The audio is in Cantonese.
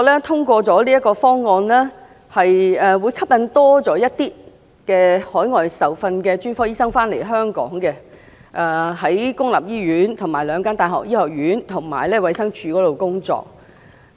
通過這個方案後，可以吸引多些海外受訓的專科醫生到香港公立醫院、兩間大學醫學院，以及衞生署工作。